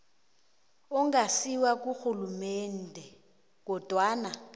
ongasiwo karhulumende kodwana